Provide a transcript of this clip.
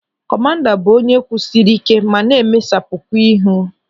Kọmanda bụ onye kwụsịrị ike ma na-emesapukwa ihu.